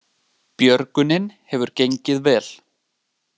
Björgunin hefur gengið vel